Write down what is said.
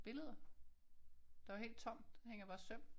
Billeder. Der er jo helt tomt. Der hænger bare søm